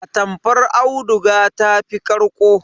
Atamfar auduga ta fi ƙarƙo.